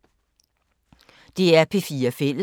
DR P4 Fælles